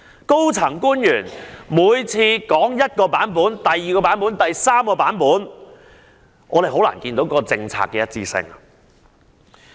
高層官員一而再、再而三說出不同的版本，令人難以看到政策的一致性。